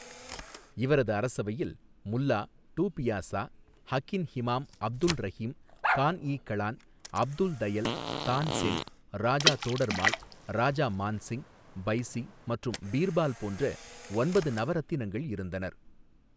இவரது அரசரவையில் முல்லா டூ பியாசா ஹகின் ஹிமாம் அப்துல் ரஹிம் கான் இ களான் அப்துல் தயல் தான்சென் ராஜா தோடர்மால் ராஜா மான்சிங் பைசி மற்றும் பீர்பால் போன்ற ஒன்பது நவரத்தினங்கள் இருந்தனர்.